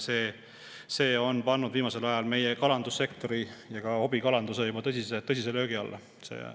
See on pannud viimasel ajal meie kalandussektori ja ka hobikalanduse tõsise löögi alla.